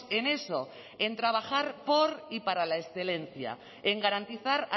en eso en trabajar por y para la excelencia en garantizar